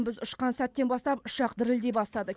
біз ұшқан сәттен бастап ұшақ дірілдей бастады